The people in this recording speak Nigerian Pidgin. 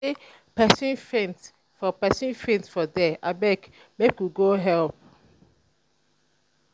dem sey pesin faint for pesin faint for there abeg make we go help.